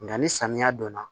Nka ni samiya don na